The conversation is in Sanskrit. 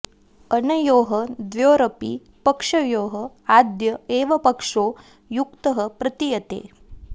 अनयोः द्वयोरपि पक्षयोः आद्य एव पक्षो युक्तः प्रतीयते